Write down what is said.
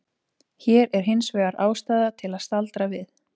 Hér er hins vegar ástæða til að staldra við.